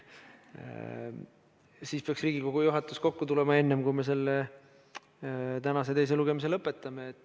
Siis peaks Riigikogu juhatus kokku tulema enne, kui me tänase teise lugemise lõpetame.